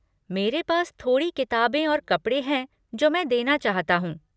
मेरे पास थोड़ी किताबें और कपड़े हैं जो मैं देना चाहता हूँ।